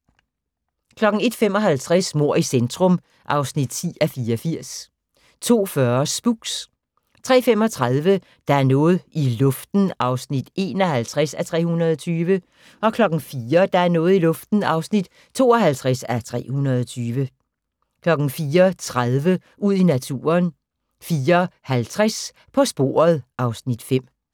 01:55: Mord i centrum (10:84) 02:40: Spooks 03:35: Der er noget i luften (51:320) 04:00: Der er noget i luften (52:320) 04:30: Ud i naturen 04:50: På sporet (Afs. 5)